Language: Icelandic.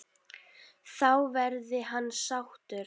Þá verði hann sáttur.